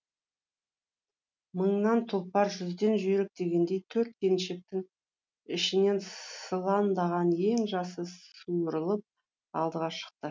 мыңнан тұлпар жүзден жүйрік дегендей төрт келіншектің ішінен сылаңдаған ең жасы суырылып алдыға шықты